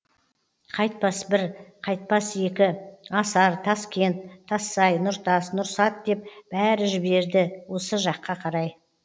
қайтпас бір қайтпас екі асар таскент тассай нұртас нұрсат деп бәрі жіберді осыяқ қарай да